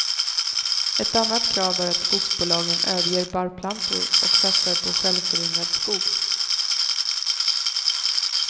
Ett annat krav är att skogsbolagen överger barrplantor och satsar på självföryngrad skog.